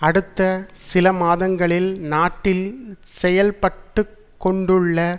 அடுத்த சில மாதங்களில் நாட்டில் செயல்பட்டுக்கொண்டுள்ள